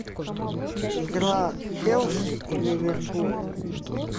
игра челси и ливерпуль